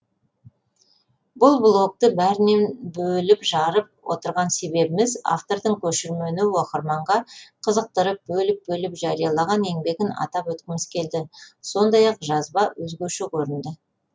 бұл блогты бәрінен бөліп жарып отырған себебіміз автордың көшірмені оқырманға қызықтырып бөліп бөліп жариялаған еңбегін атап өткіміз келді сондай ақ жазба өзгеше көрінді